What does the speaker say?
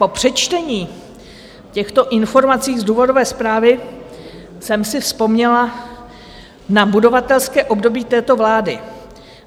Po přečtení těchto informací z důvodové zprávy jsem si vzpomněla na budovatelské období této vlády.